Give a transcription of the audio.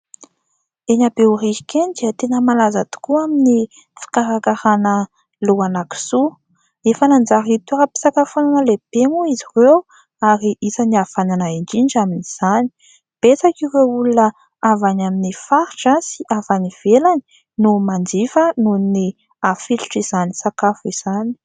Eny Behoririka eny dia tena malaza tokoa amin'ny fikarakarana lohana kisoa. Efa nanjary toeram-pisakafonana lehibe moa izy ireo ary isan'ny havanana indrindra amin'izany. Betsaka ireo olona avy any amin'ny faritra sy avy any ivelany no manjifa noho ny hafilotra izany sakafo izany.